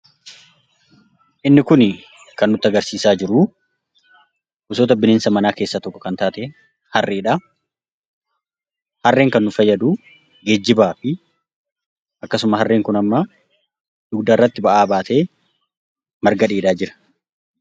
Inni kun kan nutti agarsiisaa jiru bineelda manaa keessaa tokko kan taate harreedha. Harreen kan nu fayyadu geejjibaafidha. Akkasumas harreen kun amma dugdarratti baatee marga dheedaa jira.